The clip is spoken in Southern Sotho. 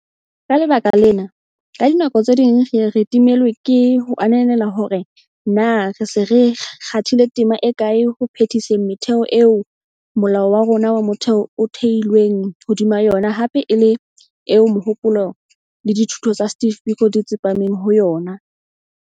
Ka lebaka lena, ka dinako tse ding re ye re timellwe ke ho ananela hore na re se re kgathile tema e kae ho phe-diseng metheo eo Molao wa rona wa Motheo o theilweng hodima yona hape e le eo mohopolo le dithuto tsa Steve Biko di tsepameng ho yona.